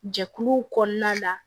Jɛkuluw kɔnɔna la